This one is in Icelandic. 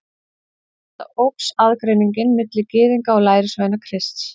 Við þetta óx aðgreiningin milli Gyðinga og lærisveina Krists.